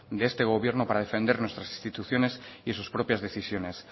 de este gobierno para defender nuestras instituciones y sus propias decisiones